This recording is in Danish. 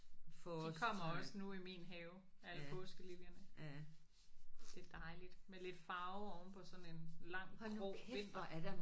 De kommer også nu i min have alle påskeliljerne. Det er dejligt med lidt farve ovenpå sådan en lang grå vinter